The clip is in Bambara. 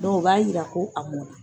o b'a yira ko a mɔnna.